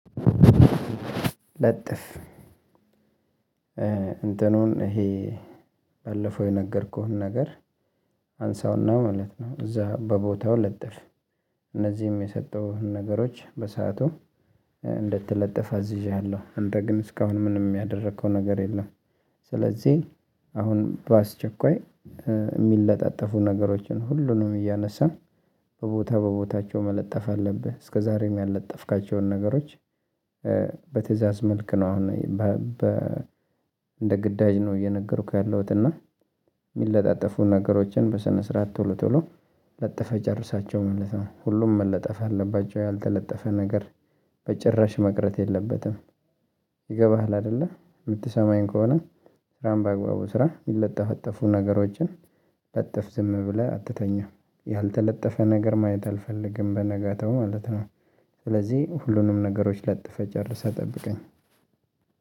ለጥፍ እንትኑን ይሄ ባለፈው የነገርኩህን ነገር አንሳውና ማለት ነው። እዛ በቦታው ለጥፍ። እነዚህም የሰጠሁህን ነገሮች በሰአቱ እንድትለጥፍ አዝዠኸለሁ። እንደ ግን እስካሁን ምንም ያደረከው ነገር የለም። ስለዚህ አሁን በአስቸኳይ የሚለጣጠፉ ነገሮችን ሁሉንም እያነሳን በቦታ በቦታቸው መለጠፍ አለብህ። እስከዛሬም ያለጠፍካቸውን ነገሮች በትእዛዝ መልክ ነው። አሁን በ እንደ ግዳጅ ነው እየነገርኩህ ያለሁት። እና ነገሮችን በሰነ ስርዓት ቶሎ ቶሎ ለጥፈህ ጨርሳቸው ማለት ነው። ሁሉም መለጠፍ አለባቸው። ያልተለጠፈ ነገር በጭራሽ መቅረት የለበትም። ይገባሃል አይደለ የምትሰማኝ ከሆነ። ስራህን በአግባቡ ስራ የሚለጠፈጠፉ ነገሮችን ለጥፍ ዝም ብለህ አትተኛም። ነገር ማየት አልፈልግም በነጋታው ማለት ነው። ስለዚህ ሁሉንም ነገሮች ለጥፈህ ጨርሰህ ጠብቀኝ።